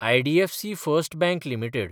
IDFC first bank limited